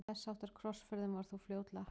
Þess háttar krossferðum var þó fljótlega hætt.